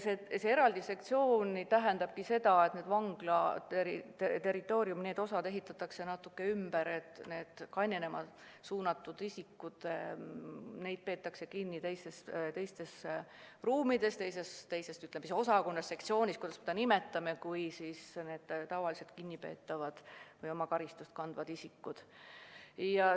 Eraldi sektsioon tähendab seda, et vangla territooriumi need osad ehitatakse natuke ümber ja kainenema suunatud isikuid peetakse kinni teistes ruumides või teises sektsioonis – kuidas me seda nimetamegi – kui tavalisi kinnipeetavaid, sh ka karistust kandvaid isikuid.